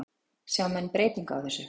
Sjá menn breytingu á þessu?